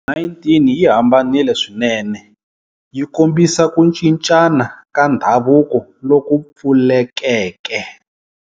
19 yi hambanile swinene, yi kombisa ku cincana ka ndhavuko loku pfulekeke.